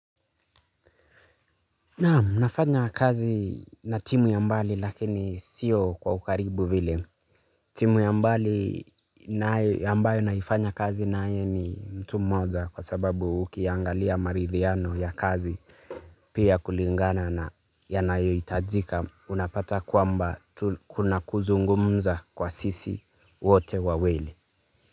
Naamu, nafanya kazi na timu ya mbali lakini sio kwa ukaribu vile. Timu ya mbali nayo ambayo naifanya kazi naye ni mtu mmoja kwa sababu ukiangalia marithiano ya kazi pia kulingana na yanayo itajika unapata kwamba kuna kuzungumza kwa sisi wote wawili.